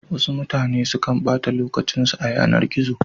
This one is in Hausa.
Wasu mutane sukan ɓata lokacin su a yanar gizo.